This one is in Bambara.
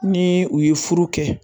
Ni u ye furu kɛ